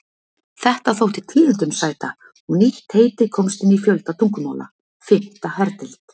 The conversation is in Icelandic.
Þetta þótti tíðindum sæta, og nýtt heiti komst inn í fjölda tungumála: Fimmta herdeild.